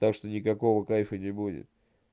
так что никакого кайфа не будет